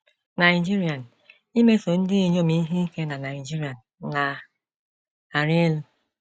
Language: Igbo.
Nigerian: “ Imeso ndị inyom ihe ike na Nigerian na - arị elu.